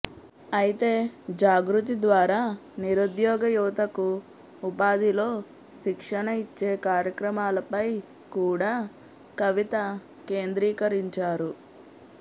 అయితే జాగృతి ద్వారా నిరుద్యోగ యువతకు ఉపాధిలో శిక్షణ ఇచ్చే కార్యక్రమాలపై కూడ కవిత కేంద్రీకరించారు